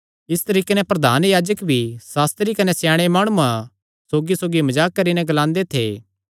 इस तरीके नैं प्रधान याजक भी सास्त्री कने स्याणे माणुआं सौगी मजाक करीकरी नैं ग्लांदे थे